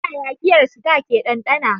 Ta yaya giyar Star ke dandana?